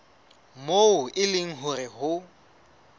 moo e leng hore ho